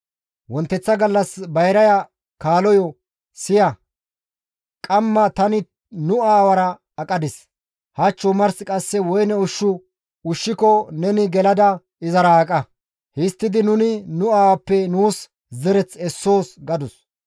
Wonteththa gallas bayraya kaaloyo, «Siya! Qamma tani nu aawara aqadis; hach omars qasse woyne ushshu ushshiko neni gelada izara aqa; histtidi nuni nu aawappe nuus zereth essoos» gadus.